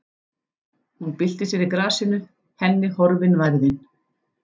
Hún byltir sér í grasinu, henni horfin værðin.